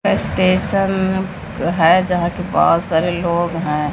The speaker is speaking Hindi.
स्टेशन है जहां के बहोत लोग हैं।